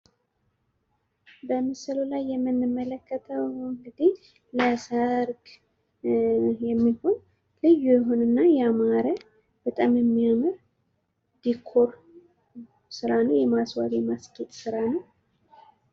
በምስሉ ላይ የምንመለከተው እንግዲህ ለሰርግ የሚሆን ልዩ የሆነና ያማረ በጣም የሚያምር ድኮር ስራ ነው። የማስዋብ የማስጌጥ ስራ ነው።